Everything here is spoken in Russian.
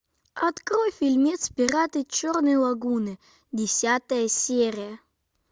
открой фильмец пираты черной лагуны десятая серия